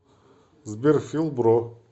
сбер фил бро